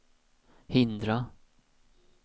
hindra